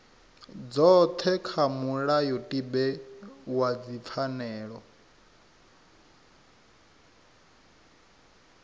dzothe kha mulayotibe wa dzipfanelo